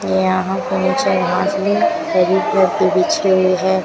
यहां घास भी हरी कलर की बिछी हुई है।